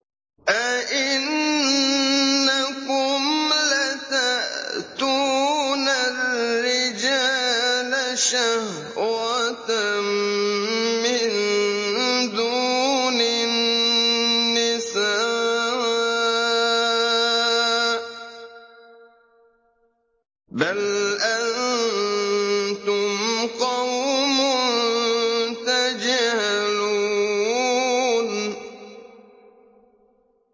أَئِنَّكُمْ لَتَأْتُونَ الرِّجَالَ شَهْوَةً مِّن دُونِ النِّسَاءِ ۚ بَلْ أَنتُمْ قَوْمٌ تَجْهَلُونَ